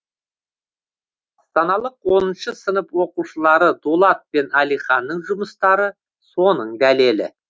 астаналық оныншы сынып оқушылары дулат пен әлиханның жұмыстары соның дәлелі